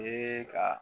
Ee ka